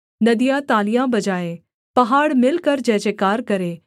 नदियाँ तालियाँ बजाएँ पहाड़ मिलकर जयजयकार करें